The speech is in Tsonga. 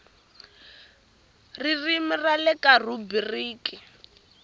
ririmi ra le kaya rhubiriki